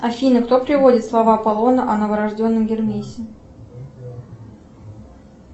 афина кто приводит слова аполлона о новорожденном гермесе